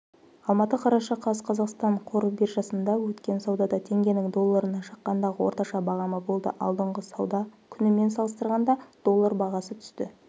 алматы қараша қаз қазақстан қор биржасында өткен саудада теңгенің долларына шаққандағы орташа бағамы болды алдыңғы сауда күнімен салыстырғанда доллар бағасы түсті